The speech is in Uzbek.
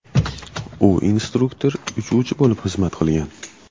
U instruktor uchuvchi bo‘lib xizmat qilgan.